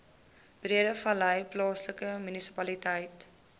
breedevallei plaaslike munisipaliteit